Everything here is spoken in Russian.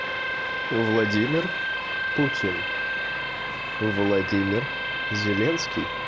владимир путин владимир зеленский